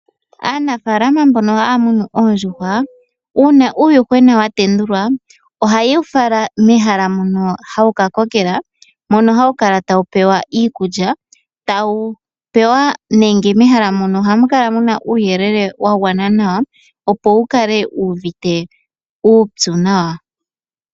Aanafaalama mbono haya munu oondjuhwa, uunna uuyuhwena wa tendulwa ohaye wu fala mehala mono hawu ka kokela, mono hawu kala tawu pewa iikulya. Mehala mono ohamu kala muna uuyelele wa gwana nawa opo wukale wu uvite uupyu nawa.